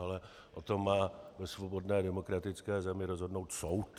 Ale o tom má ve svobodné demokratické zemi rozhodnout soud.